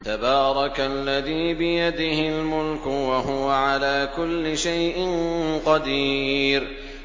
تَبَارَكَ الَّذِي بِيَدِهِ الْمُلْكُ وَهُوَ عَلَىٰ كُلِّ شَيْءٍ قَدِيرٌ